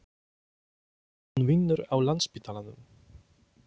Hún vinnur á Landspítalanum.